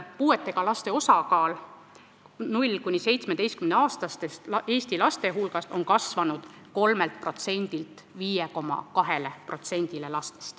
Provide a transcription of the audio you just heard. Puudega laste osakaal 0–17-aastaste Eesti laste hulgas on kasvanud 3%-st 5,2%-ni.